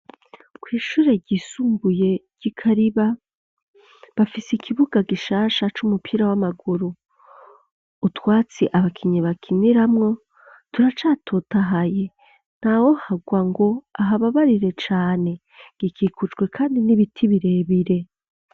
Kw'ishure ryisumbuye ry'i Kariba, bafise ikibuga gishasha c'umupira w'amaguru. Utwatsi abakinyi bakiniramwo turacatotahaye ntawoharwa ngo ahababarire cane. Gikikujwe kandi n'ibiti birebire.